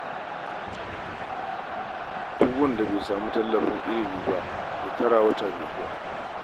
Duk wanda bai samu nasarar samun tallafin ilimi ba, ya tara wata mai zuwa